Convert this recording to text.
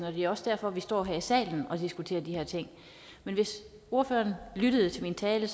og det er også derfor vi står her i salen og diskuterer de her ting men hvis ordføreren lyttede til min tale